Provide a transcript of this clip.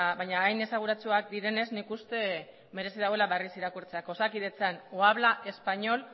baina hain esanguratsuak direnez nik uste merezi daula berriz irakurtzeak osakidetzan o habla español